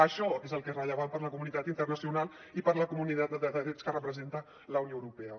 això és el que és rellevant per a la comunitat internacional i per a la comunitat de drets que representa la unió europea